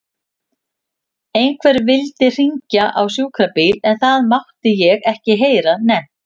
Einhver vildi hringja á sjúkrabíl en það mátti ég ekki heyra nefnt.